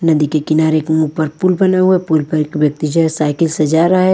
नदी के किनारे के ऊमूक पर पुल बना हुआ पुल पर एक व्यक्ति जे साइकिल से जा रहा है।